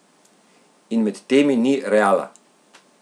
In med temi ni Reala!